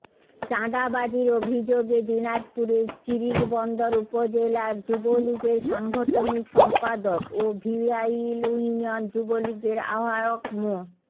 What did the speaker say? চাঁদাবাজির অভিযোগে দিনাজপুরের চিরিরবন্দর উপজেলার যুবলীগের সাংগঠনিক সম্পাদক ও ভিয়াইল ইউনিয়ন যুবলীগের আহ্বায়ক মো